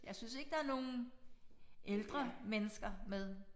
Jeg synes ikke der nogen ældre mennesker med